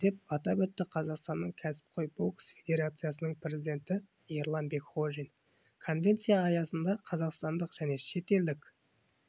деп атап өтті қазақстанның кәсіпқой бокс федерациясының президенті ерлан бекқожин конвенция аясында қазақстандық және шетелдік